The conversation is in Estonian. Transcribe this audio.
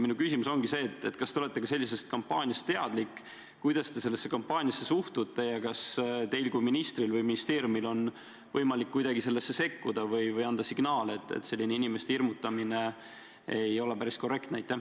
Minu küsimus ongi, kas te olete sellisest kampaaniast teadlik, kuidas te sellesse kampaaniasse suhtute ja kas teil kui ministril või kas ministeeriumil on võimalik kuidagi sellesse sekkuda või anda signaal, et selline inimeste hirmutamine ei ole päris korrektne.